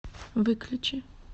выключи